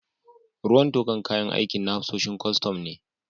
Ruwan tokar kayan aikin na hafsoshin kwastam ne.